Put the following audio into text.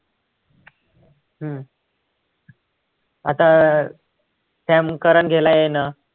हम्म आता अं त्या सॅम करन ह्याला आहे ना